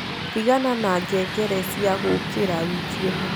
tigana na ngengere cĩa gũũkĩra wiki ino